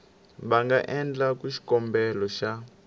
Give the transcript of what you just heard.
va nga endlaku xikombelo xa